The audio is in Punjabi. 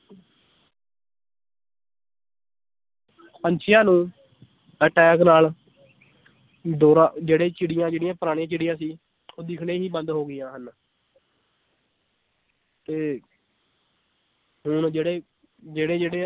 ਪੰਛੀਆਂ ਨੂੰ attack ਨਾਲ ਦੌਰਾ ਜਿਹੜੇ ਚਿੜੀਆਂ ਜਿਹੜੀਆਂ ਪੁਰਾਣੀਆਂ ਚਿੜੀਆਂ ਸੀ ਉਹ ਦਿਖਣੇ ਹੀ ਬੰਦ ਹੋ ਗਈਆਂ ਹਨ ਤੇ ਹੁਣ ਜਿਹੜੇ ਜਿਹੜੇ ਜਿਹੜੇ